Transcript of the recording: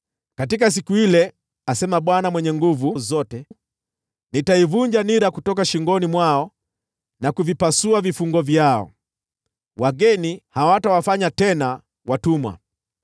“ ‘Katika siku ile,’ asema Bwana Mwenye Nguvu Zote, ‘nitaivunja nira kutoka shingoni mwao na kuvipasua vifungo vyao; wageni hawatawafanya tena watumwa.